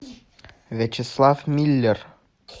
вячеслав миллер